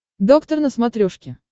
доктор на смотрешке